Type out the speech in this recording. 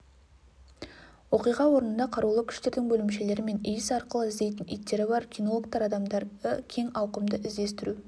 оқиға орнында қарулы күштердің бөлімшелері мен иіс арқылы іздейтін иттері бар кинологтар адамдарды кең ауқымды іздестіру